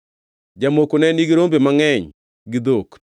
Jamoko ne nigi rombe mangʼeny gi dhok,